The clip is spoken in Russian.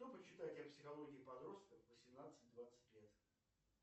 что почитать о психологии подростков восемнадцать двадцать лет